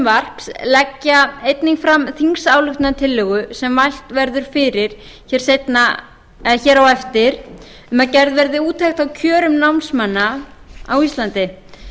leggja einnig fram þingsályktunartillögu sem mælt verður fyrir seinna en hér á eftir um að gerð verði úttekt á kjörum námsmanna á íslandi